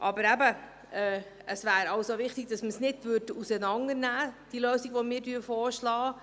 Aber, eben, es wäre wichtig, dass man die Lösung, die wir vorschlagen, nicht auseinandernimmt.